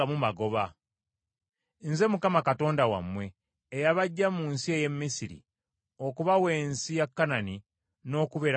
Nze Mukama Katonda wammwe eyabaggya mu nsi ey’e Misiri okubawa ensi ya Kanani n’okubeera Katonda wammwe.